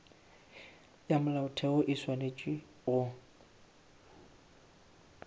ya molaotheo o swanetše go